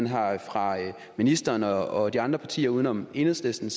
har fra ministerens og de andre side uden om enhedslisten